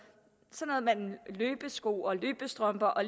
som løbesko løbestrømper og